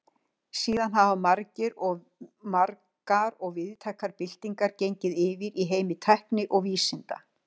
Síðan hafa margar og víðtækar byltingar gengið yfir í heimi tækni og vísinda.